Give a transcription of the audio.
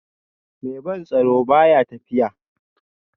Mai ban tsoro ba ya tafiya